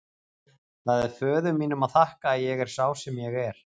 Það er föður mínum að þakka að ég er sá sem ég er.